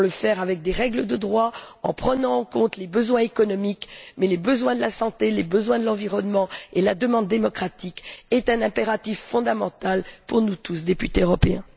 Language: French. Nous devons le faire avec des règles de droit, en prenant en compte les besoins relevant de l'économie, de la santé, de l'environnement, et la demande démocratique est un impératif fondamental pour nous tous, députés européens.